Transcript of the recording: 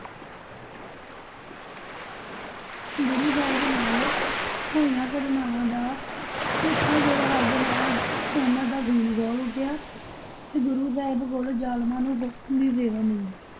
ਗੁਰੂ ਸਾਹਿਬ ਨਾਲ ਹੋਈਆਂ ਘਟਨਾਵਾਂ ਦਾ ਸਿੱਖਾਂ ਕੋਲੋਂ ਹਾਲ ਸੁਣਿਆ ਤਾਂ ਉਹਨਾਂ ਦਾ ਖੂਨ ਖੋਲ ਉੱਠਿਆ ਤੇ ਗੁਰੂ ਸਾਹਿਬ ਕੋਲ ਜਾਲਮਾਂ ਨੂੰ ਸੋਧਣ ਦੀ ਸੇਵਾ ਮੰਗੀ।